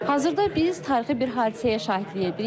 Hazırda biz tarixi bir hadisəyə şahidlik edirik.